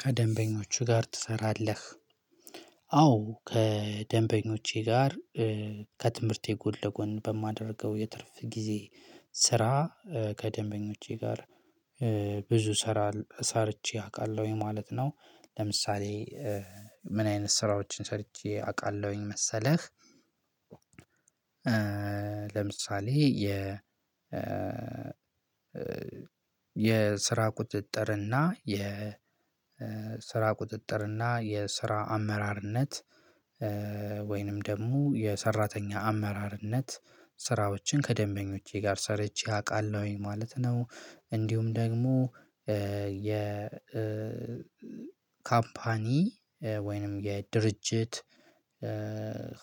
"ከደንበኞቹ ጋር ትሰራለህ?" አዎ ከደንበኞቼ ጋር ከትምህርቴ ጎን ለጎን በማደርገው የትርፍ ጊዜ ስራ ከደንበኞቼ ጋር ብዙ ሰራል ሰርቼ አውቃለሁኝ ማለት ነው። ለምሳሌ ምን አይነት ስራዎችን ሰርቼ አውቃለሁኝ መሰለህ፤ ለምሳሌ የ የስራ ቁጥጥርና የ ስራ ቁጥጥር እና የስራ አመራርነት ወይንም ደግሞ የሰራተኛ አመራርነት ስራዎችን ከደንበኞቼ ጋር ሰርቼ አውቃለሁኝ ማለት ነው። እንዲሁም ደግሞ የ ካምፓኒ ወይንም የድርጅት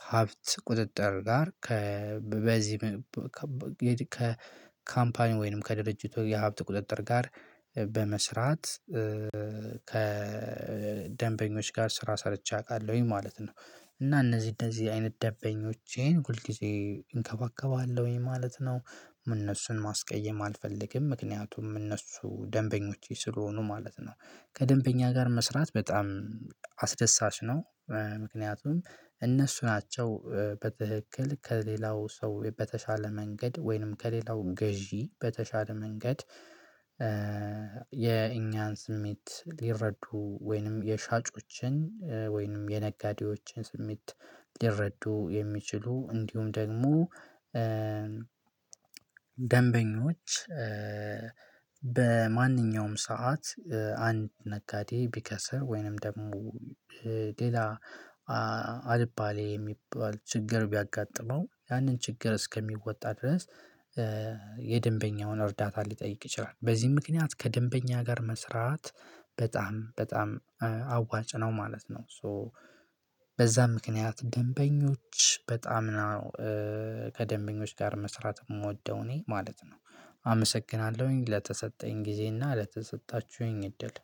ሀብት ቁጥጥር ጋር ከ በዚህ ከካምፓኒው ወይንም ከድርጅቱ የሀብት ቁጥጥር ጋር በመስራት ከደንበኞች ጋር ስራ ሰርቼ አውቃለሁኝ ማለት ነው። እና እነዚህ እነዚህ አይነት ደበኞቼን ሁል ጊዜ እንከባከባለሁኝ ማለት ነው። እነሱን ማስቀየም አልፈልግም፤ ምክንያቱም እነሱ ደንበኞቼ ስለሆኑ ማለት ነው። ከደንበኛ ጋር መስራት በጣም አስደሳች ነው። ምክንያቱም እነሱ ናቸው በትክክል ከሌላው ሰው በተሻለ መንገድ፣ ወይንም ከሌላው ገዢ በተሻለ መንገድ የእኛን ስሜት ሊረዱ ወይንም የሻጮችን ወይንም የነጋዴዎችን ስሜት ሊረዱ የሚችሉ፤ እንዲሁም ደግሞ ደንበኞች በማንኛውም ሰዓት አንድ ነጋዴ ቢከስር ወይንም ደግሞ ሌላ አልባሌ የሚባል ችግር ቢያጋጥመው ያንን ችግር እስከሚወጣ ድረስ የደንበኛውን እርዳታ ሊጠይቅ ይችላል። በዚህም ምክንያት ከደንበኛ ጋር መስራት በጣም በጣም አዋጭ ነው ማለት ነው። ሶ በዛም ምክንያት ደንበኞች በጣም ነው ከደንበኞች ጋር መስራት የምወደው እኔ ማለት ነው አመሰግናለሁኝ ለተሰጠኝ ጊዜና ለተሰጣችሁኝ እድል።